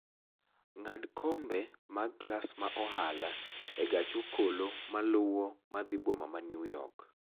ng'ad kombe mag klas ma ohala e gach okolomaluwo madhi boma ma New York